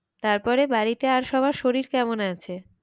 তারপরে বাড়িতে আর সবার শরীর কেমন আছে?